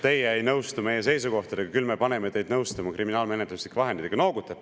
"Teie ei nõustu meie seisukohtadega ja küll me paneme teid nõustuma kriminaalmenetluslike vahenditega!